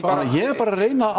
bara ég er bara að reyna